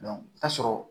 i bi taa sɔrɔ